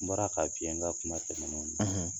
N bɔra ka f'i ye an ka kuma tɛmɛnenw na